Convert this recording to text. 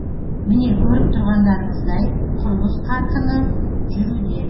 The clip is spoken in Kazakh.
міне көріп тұрғандарыңыздай құрылыс қарқыны жүруде